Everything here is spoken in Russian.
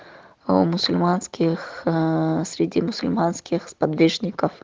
а у мусульманских среди мусульманских сподвижников